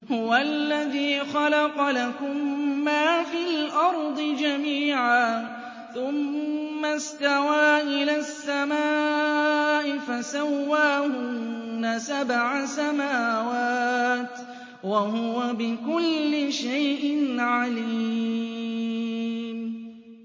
هُوَ الَّذِي خَلَقَ لَكُم مَّا فِي الْأَرْضِ جَمِيعًا ثُمَّ اسْتَوَىٰ إِلَى السَّمَاءِ فَسَوَّاهُنَّ سَبْعَ سَمَاوَاتٍ ۚ وَهُوَ بِكُلِّ شَيْءٍ عَلِيمٌ